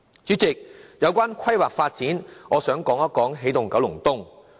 主席，關於規劃發展方面，我想討論一下"起動九龍東"。